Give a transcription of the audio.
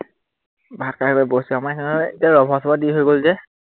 ভাত খাই হল, বহিছো। আমাৰ এতিয়া ৰভা সভা দি হৈ গল যে